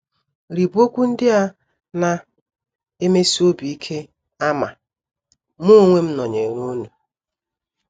Rịba okwu ndị a na - emesi obi ike ama: “ Mụ onwe m nọnyeere unu. ”